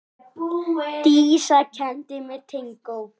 Dísa kenndi mér tangó.